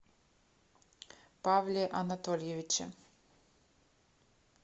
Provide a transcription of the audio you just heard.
павле анатольевиче